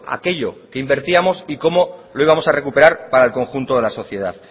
aquello que invertíamos y cómo lo íbamos a recuperar para el conjunto de la sociedad